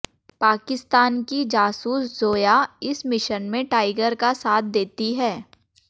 पाकिस्तान की जासूस जोया इस मिशन में टाइगर का साथ देती है